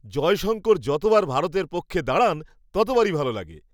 জয়শঙ্কর যতবার ভারতের পক্ষে দাঁড়ান, ততবারই ভালো লাগে।